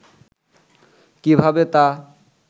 কীভাবে তা